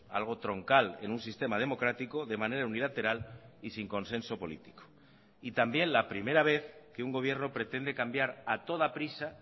algo troncal en un sistema democrático de manera unilateral y sin consenso político y también la primera vez que un gobierno pretende cambiar a toda prisa